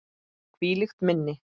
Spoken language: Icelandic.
Hvílíkt minni!